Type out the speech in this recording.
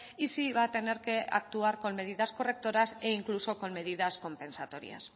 y si va a tener que actuar con medidas correctoras e incluso con medidas compensatorias